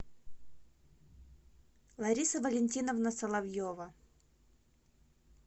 лариса валентиновна соловьева